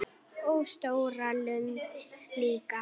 Og stóra lund líka.